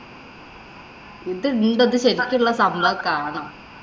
ഇത് എന്തത് ശരിക്കുള്ള സംഭവമൊക്കെ ആണോ?